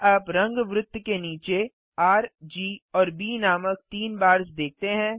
क्या आप रंग वृत्त के नीचे र जी और ब नामक तीन बार्स देखते हैं